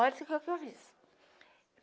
Olha o que que eu fiz.